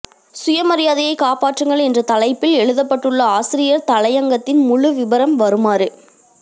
சுயமரியாதையை காப்பாற்றுங்கள் என்ற தலைப்பில் எழுதப்பட்டுள்ள ஆசிரியர் தலையங்கத்தின் முழு விபரம் வருமாறு